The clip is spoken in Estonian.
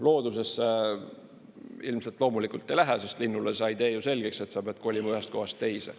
Looduses see ilmselt loomulikult nii ei lähe, sest linnule sa ei tee ju selgeks, et sa pead kolima ühest kohast teise.